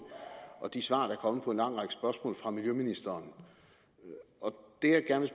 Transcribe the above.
og de svar fra miljøministeren der